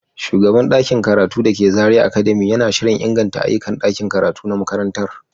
Shugaban ɗakin karatu da ke Zariya academy yana shirin inganta ayyukan ɗakin karatu na makarantar.